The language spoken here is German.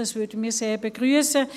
Das würden wir sehr begrüssen.